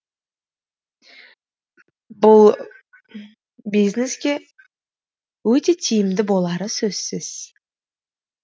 бұл бизнеске өте тиімді болары сөзсіз